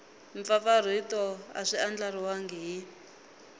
mpfapfarhuto a swi andlariwangi hi